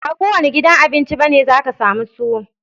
Ba kowanne gidan Abinci bane zaka sami tuwo